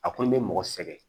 A kɔni bɛ mɔgɔ sɛgɛn